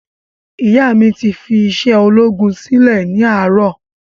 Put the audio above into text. Ìyá mí ti fí isé ológun silẹ ni àárò